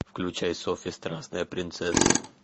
включай софи страстная принцесса